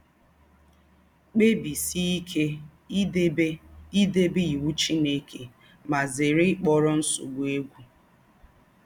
Kpẹ́bísíè íké ídèbé ídèbé íwụ́ Chínèké, mà zèrè íkpọ̀rọ̀ nsọ̀bụ̀ égwụ̀.